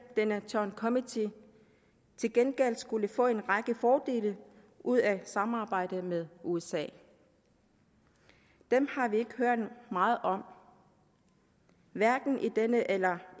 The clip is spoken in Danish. i denne joint committee til gengæld skulle få en række fordele ud af samarbejdet med usa dem har vi ikke hørt meget om hverken i denne eller